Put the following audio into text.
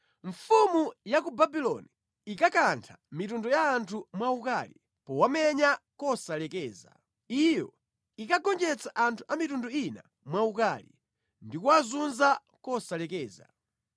Mfumu ya ku Babuloni inkakantha mitundu ya anthu mwaukali powamenya kosalekeza, Iyo inkagonjetsa anthu a mitundu ina mwaukali ndikuwazunza kosalekeza.